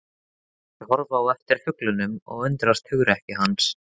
Þeir horfa á eftir fuglinum og undrast hugrekki hans.